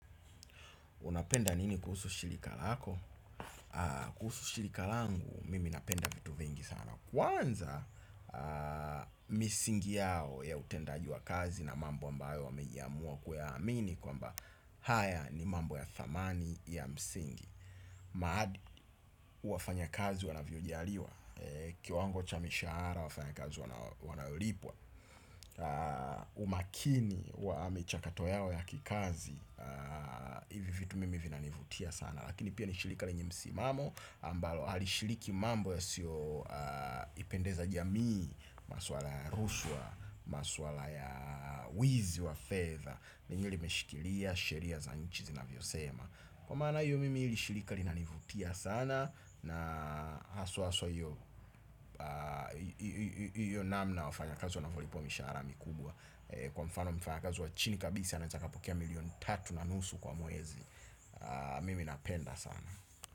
Unapenda nini kuhusu shilika lako? Kuhusu shilika langu, mimi napenda vitu vingi sana. Kwanza, misingi yao ya utendaji wa kazi na mambo ambayo wamejiamua kuamini kwamba haya ni mambo ya thamani ya msingi. Maadi wafanya kazi wanavyojaliwa. Kiwango cha mishara wafanya kazi wanaolipwa umakini wa michakato yao ya kikazi ivi vitu mimi vina nivutia sana. Lakini pia ni shilika lenye msimamo ambalo alishiliki mambo yasio ipendeza jamii. Maswala ya rushwa maswala ya wizi wa fedha lenyewe limeshikilia, sheria, za nchi zinavyo sema. Kwa maana iyo mimi hili shilika linanivutia sana na haswa haswa iyo namna wafanya kazi wanavyolipwa mishara mikubwa kwa mfano mfanya kazi wa chini kabisa anaeza akapokea milioni tatu na nusu kwa mwezi mimi napenda sana.